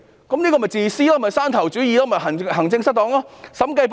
這便是自私的做法、山頭主義及行政失當。